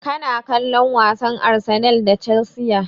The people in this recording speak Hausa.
Kana kallon wasan Arsenal da Chelsea?